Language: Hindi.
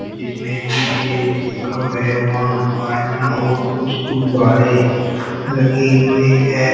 जिसमें पीछे लिखा है वन आयरन और कुछ गुम्बाडे लगे हुए हैं।